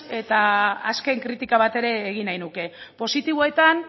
eta azken kritika bat ere egin nahi nuke positiboetan